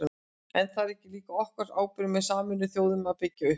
En er það ekki líka okkar ábyrgð með Sameinuðu þjóðunum að byggja upp?